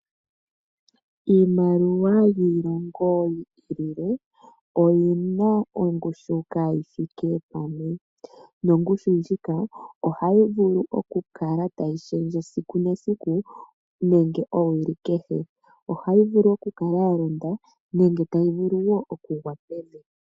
Iimaliwa yiilongo yi i lile oyi na ongushu kaa yi thike pamwe, nongushu ndjika ohayi vulu okukala tayi shendje esiku nesiku nenge owili kehe, ohayi vulu okukala ya londa nenge tayi vulu wo okugwa pevi.